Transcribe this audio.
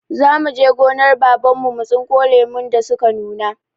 Za mu je gonar Baban mu mu tsinko lumun da su ka nuna.